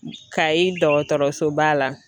Kayi dɔgɔtɔrɔsoba la.